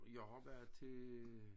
Jeg har været til